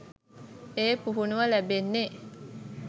ඒ පුහුණුව ලැබෙන්නෙ.